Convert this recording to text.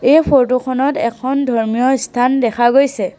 এই ফটো খনত এখন ধৰ্মীয় স্থান দেখা গৈছে।